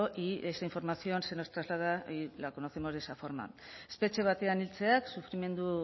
y esa información se nos traslada la conocemos de esa forma espetxe batean hiltzeak sufrimendu